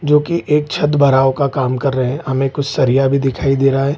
जो की एक छत भराव का काम कर रहे हैं हमें कुछ सरिया भी दिखाई दे रहा है ।